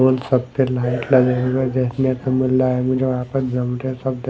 ओर सब मे लाइट लगे हुए है देखने को मिल रहा है मुजे वहाँ पर सब --